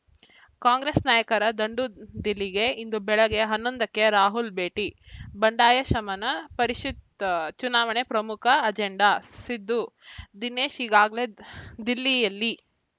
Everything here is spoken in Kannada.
ಕಾಂಗ್ರೆಸ್‌ ನಾಯಕರ ದಂಡು ದಿಲ್ಲಿಗೆ ಇಂದು ಬೆಳಗ್ಗೆ ಹನ್ನೊಂದಕ್ಕೆ ರಾಹುಲ್‌ ಭೇಟಿ ಬಂಡಾಯ ಶಮನ ಪರಿಷತ್‌ ಚುನಾವಣೆ ಪ್ರಮುಖ ಅಜೆಂಡಾ ಸಿದ್ದು ದಿನೇಶ್‌ ಈಗಾಗಲೇ ದಿಲ್ಲಿಯಲ್ಲಿ